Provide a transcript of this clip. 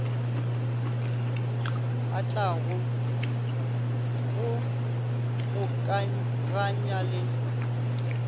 a tlago go gokaganya le